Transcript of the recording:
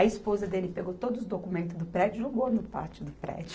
A esposa dele pegou todos os documentos do prédio e jogou no pátio do prédio.